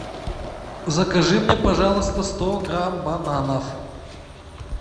закажи мне пожалуйста сто грамм бананов